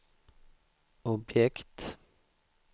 objekt